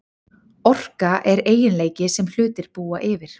Orka er eiginleiki sem hlutir búa yfir.